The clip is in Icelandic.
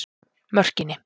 Mörkinni